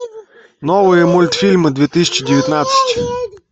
новые мультфильмы две тысячи девятнадцать